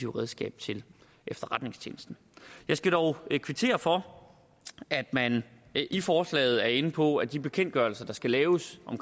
redskab til efterretningstjenesten jeg skal dog kvittere for at man i forslaget er inde på at de bekendtgørelser der skal laves om